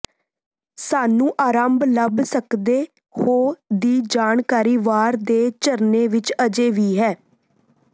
ਸਾਨੂੰ ਆਰੰਭ ਲੱਭ ਸਕਦੇ ਹੋ ਦੀ ਜਾਣਕਾਰੀ ਵਾਰ ਦੇ ਝਰਨੇ ਵਿਚ ਅਜੇ ਵੀ ਹੈ